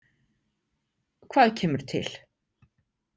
Hvað kemur til?